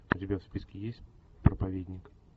у тебя в списке есть проповедник